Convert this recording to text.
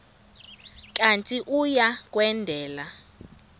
kanti uia kwendela